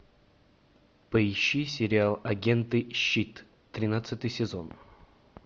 поищи сериал агенты щит тринадцатый сезон